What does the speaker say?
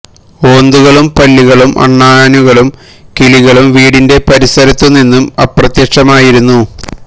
ഓന്തുകളും പല്ലികളും അണ്ണാനുകളും കിളികളും വീടിന്റെ പരിസരത്തു നിന്നും അ പ്രത്യക്ഷമായിരുന്നു